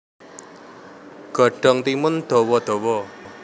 Godhong timun dawa dawa